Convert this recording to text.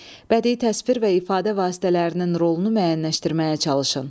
Bədii təsvir və ifadə vasitələrinin rolunu müəyyənləşdirməyə çalışın.